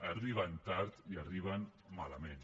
arriben tard i arriben malament